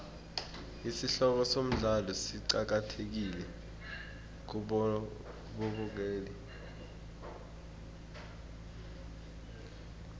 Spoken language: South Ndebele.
isihloko somdlalo siqakathekile kubabukeli